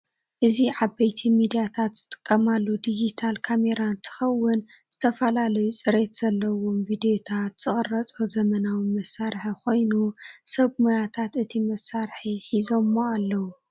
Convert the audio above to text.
እዚ ዓበይቲ ሚድያታት ዝጥቀማሉ ዲጅታል ካሜራ እንትኸውን ዝተፈላለዩ ፅሬት ዘለዎም ቪድዮታት ዝቅረፆ ዘመናዊ መሳርሒ ኮይኑ ሰብ ሞያታት እቲ መሳርሒ ሒዘሞ አለው።